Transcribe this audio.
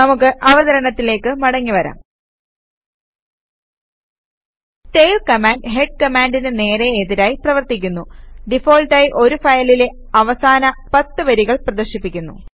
നമുക്ക് അവതരണത്തിലേക്ക് മടങ്ങി വരാം ടെയിൽ കമാൻഡ് ഹെഡ് കമാൻഡിന് നേരേ എതിരായി പ്രവർത്തിക്കുന്നു ഡിഫാൾട്ടായി ഒരു ഫയലിലെ അവസാന 10 വരികൾ പ്രദർശിപ്പിക്കുന്നു